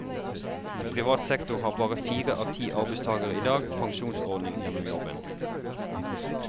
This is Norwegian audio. I privat sektor har bare fire av ti arbeidstagere i dag pensjonsordning gjennom jobben.